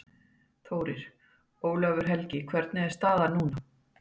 Þórir: Ólafur Helgi hvernig er staðan núna?